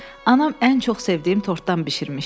Anam ən çox sevdiyim tortdan bişirmişdi.